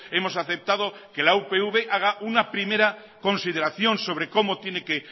hemos aceptado que la upv haga una primera consideración sobre cómo tiene que